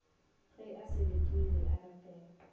ge a selekegile a rapela